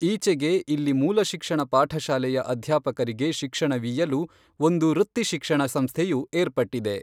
ಈಚೆಗೆ ಇಲ್ಲಿ ಮೂಲಶಿಕ್ಷಣ ಪಾಠಶಾಲೆಯ ಅಧ್ಯಾಪಕರಿಗೆ ಶಿಕ್ಷಣವೀಯಲು ಒಂದು ವೃತ್ತಿ ಶಿಕ್ಷಣ ಸಂಸ್ಥೆಯೂ ಏರ್ಪಟ್ಟಿದೆ.